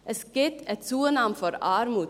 Es gibt eine Zunahme der Armut.